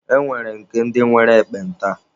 E nwere nke ndi nwere ekpenta.